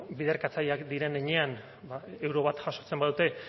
bueno biderkatzaileak diren heinean ba euro bat jasotzen badute